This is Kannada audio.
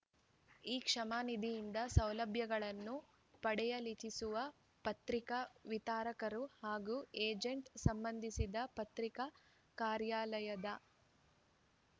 ಈ ಕ್ಷೇಮನಿಧಿಯಿಂದ ಸೌಲಭ್ಯಗಳನ್ನು ಪಡೆಯಲಿಚ್ಛಿಸುವ ಪತ್ರಿಕಾ ವಿತರಕರು ಹಾಗೂ ಏಜೆಂಟರು ಸಂಬಂಧಿಸಿದ ಪತ್ರಿಕಾ ಕಾರ್ಯಾಲಯದ